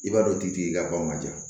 I b'a dɔn k'i tigi ka bɔ ma ja